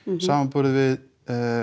samanborið við